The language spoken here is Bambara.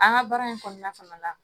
An ka baara in kɔnɔna fana la